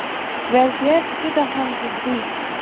Vaziyat juda ham jiddiy.